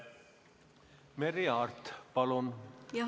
Merry Aart, palun!